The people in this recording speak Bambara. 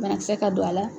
Banakisɛ ka don a la